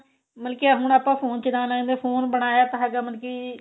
ਮਤਲਬ ਕੀ ਹੁਣ ਆਪਾਂ phone ਚਲਾਨ ਲੱਗ phone ਬਣਾਇਆ ਤਾਂ ਹੈਗਾ ਮਤਲਬ ਕੀ